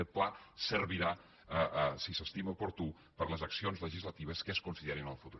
aquest pla servirà si s’estima oportú per a les accions legislatives que es considerin en el futur